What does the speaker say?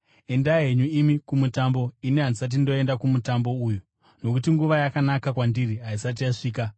Endai henyu imi kuMutambo. Ini handisati ndoenda kuMutambo uyu, nokuti nguva yakanaka kwandiri haisati yasvika.”